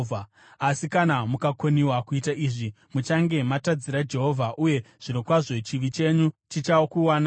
“Asi kana mukakoniwa kuita izvi, muchange matadzira Jehovha; uye zvirokwazvo chivi chenyu chichakuwanai.